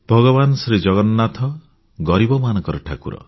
ଭଗବାନ ଶ୍ରୀଜଗନ୍ନାଥ ଗରିବମାନଙ୍କ ଠାକୁର